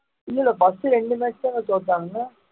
இல்லை இல்லை first இரண்டு match தானே தோத்தாங்க